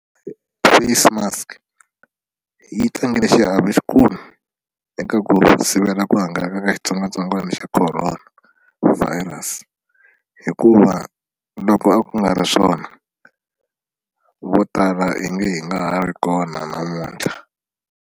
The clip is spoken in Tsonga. Face mask yi tlangile xiave xikulu eka ku sivela ku hangalaka ka xitsongwatsongwana xa Corona Virus hikuva loko a ku nga ri swona vo tala i nge hi nga ha ri kona namuntlha.